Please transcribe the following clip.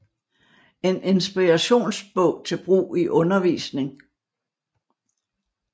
En inspirations bog til brug i undervisning